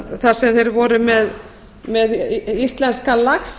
þar sem þeir voru með íslenskan lax